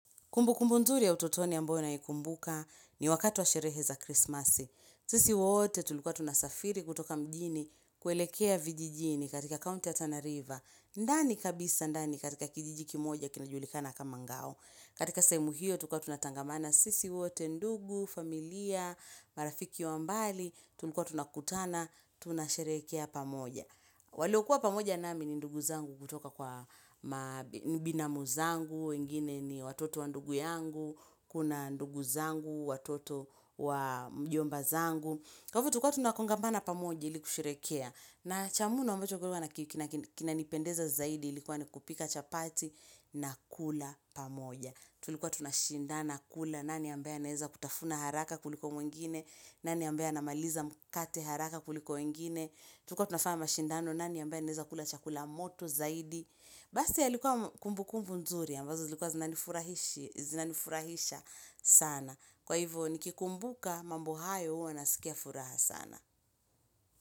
Kumbukumbu nzuri ya utotoni ya ambayo naikumbuka ni wakatu wa sherehe za krismasi. Sisi wote tulikuwa tunasafiri kutoka mjini kuelekea vijijini katika county ya tana river. Ndani kabisa ndani katika kijijiki kimoja kinajulikana kama ngao. Katika sehemu hio tulikua tunatangamana sisi wote, ndugu, familia, marafiki wa mbali, tulikuwa tunakutana, tunasherekea pamoja. Waliokuwa pamoja nami ni ndugu zangu kutoka kwa binamu zangu, wengine ni watoto wa ndugu yangu, kuna ndugu zangu, watoto wa mjomba zangu. Kwa ivo tulikuwa tunakongamana pamoja ili kusherekea. Na chamuno ambacho kilikuwa kinanipendeza zaidi ilikuwa ni kupika chapati na kula pamoja. Tulikuwa tunashindana kula nani ambayaye anaeza kutafuna haraka kuliko mwingine, nani ambaye anamaliza mkate haraka kuliko wengine. Tulikuwa tunafanya mashindano nani ambaye anaeza kula chakula moto zaidi Basi yalikuwa kumbu kumbu nzuri ambazo zilikuwa zinanifurahisha sana Kwa hivyo nikikumbuka mambo hayo huwa nasikia furaha sana.